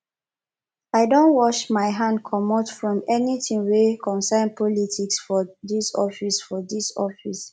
i don wash my hand comot from anytin wey concern politics for dis office for dis office